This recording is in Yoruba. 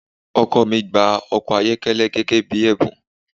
Ọkọ mi gba ọkọ-ayokele gẹ́gẹ́ bí ẹ̀bùn.